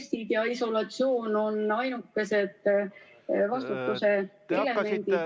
... testid ja isolatsioon on ainukesed vastutuse elemendid.